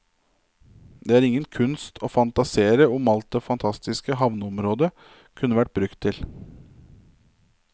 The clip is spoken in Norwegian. Det er ingen kunst å fantasere om alt det fantastiske havneområdene kunne vært brukt til.